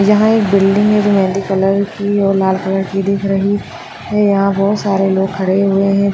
यहा एक बिल्डिंग है जो मेहंदी कलर की और लाल कलर की दिख रही है यहा बहुत सारे लोग खड़े हुए है।